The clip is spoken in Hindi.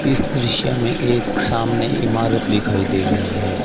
इस दृश्य में एक सामने इमारत दिखाई दे रही है।